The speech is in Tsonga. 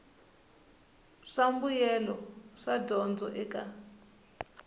swa mbuyelo wa dyondzo eka